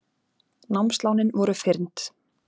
Námslánin voru fyrnd